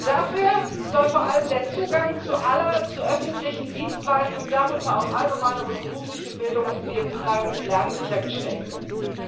Dafür soll vor allem der Zugang aller zu öffentlichen Dienstleistungen darunter auch allgemeine und berufliche Bildung und lebenslanges Lernen sichergestellt werden.